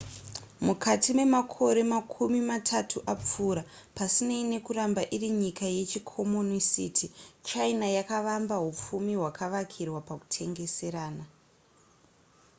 mukati memakore makumi matatu apfuura pasinei nekuramba iri nyika yechikomonisiti china yakavamba hupfumi hwakavakirwa pakutengeserana